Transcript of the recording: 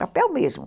Papel mesmo.